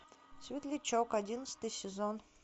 светлячок одиннадцатый сезон